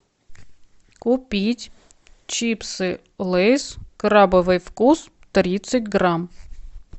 купить чипсы лейс крабовый вкус тридцать грамм